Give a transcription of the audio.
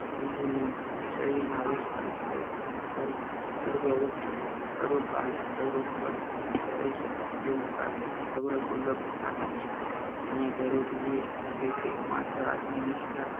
શરીરના અવસ્થાને તો સર્વ અવસ્થામાં, સર્વ કાલે, સર્વ સ્થળે કરી શકાય તેવું પ્રાર્થના સૌને સુલભ સાધન છે. એમાં જરૂરી એ જ છે કે માત્ર આત્મનિષ્ઠા